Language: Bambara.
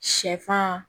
Sɛfan